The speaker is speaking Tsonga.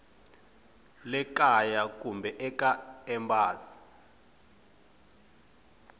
le kaya kumbe eka embasi